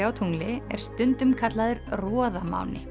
á tungli er stundum kallaður